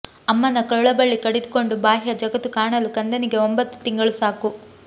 ಅಮ್ಮನ ಕರುಳಬಳ್ಳಿ ಕಡಿದುಕೊಂಡು ಬಾಹ್ಯ ಜಗತ್ತು ಕಾಣಲು ಕಂದನಿಗೆ ಒಂಬತ್ತು ತಿಂಗಳು ಸಾಕು